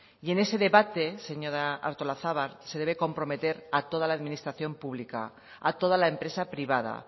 y en ese debate señora artolazabal se debe comprometer a toda la administración pública a toda la empresa privada